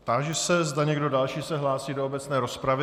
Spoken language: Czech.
Táži se, zda někdo další se hlásí do obecné rozpravy.